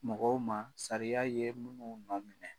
Mɔgɔw ma sariya ye minnu nɔ minɛ.